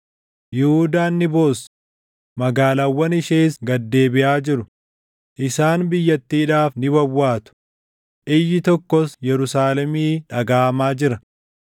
“Yihuudaan ni boossi; magaalaawwan ishees gad deebiʼaa jiru; isaan biyyattiidhaaf ni wawwaatu; iyyi tokkos Yerusaalemii dhagaʼamaa jira.